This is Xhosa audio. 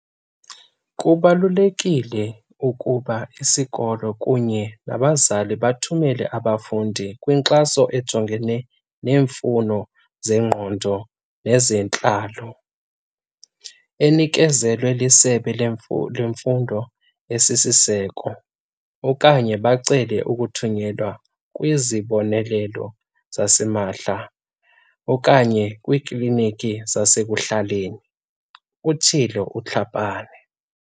"Kubalulekile ukuba isikolo kunye nabazali bathumele ababafundi kwinkxaso ejongene neemfuno zengqondo nezentlalo, enikezelwa liSebe leMfundo esiSiseko, okanye bacele ukuthunyelwa kwizibonelelo zasimahla okanye kwiikliniki zasekuhlaleni," utshilo uTlhapane.